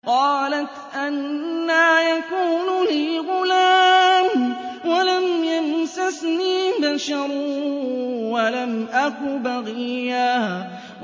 قَالَتْ أَنَّىٰ يَكُونُ لِي غُلَامٌ وَلَمْ يَمْسَسْنِي بَشَرٌ وَلَمْ أَكُ بَغِيًّا